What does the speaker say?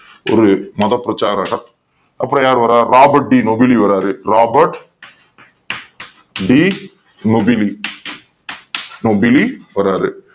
ஒரு மத பிரச்சாரராக அப்புறம் யாரு வர்றா? Robert de nobility வராரு Robert de nobili